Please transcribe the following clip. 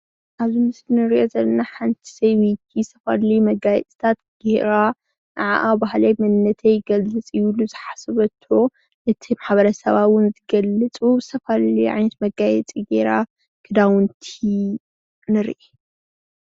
ኣብዚ ምስሊ እንሪኦ ዘለና ሓንታ ሰበይቲ ዝተፈላለዩ መጋየፅታት ጌራ ነዓዓ ባህለይ መንነተይ ይገልፅ እዩ ዝበለቶ እዩ ኢላ ዝሓሶበቶ እቲ ማሕበረሰባ እውን ዝገልፅ ተኸዲና ንሪኣ።